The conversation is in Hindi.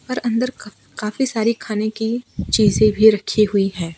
और अंदर काफी सारी खान की चीजे भी रखी हुई है।